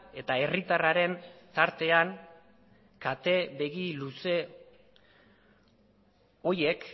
eta herritarraren tartean kate begi luze horiek